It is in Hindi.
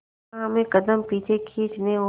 जहां हमें कदम पीछे खींचने और